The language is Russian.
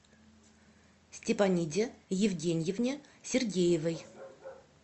степаниде евгеньевне сергеевой